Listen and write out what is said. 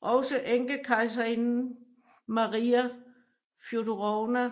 Også enkekejserinde Maria Fjodorovna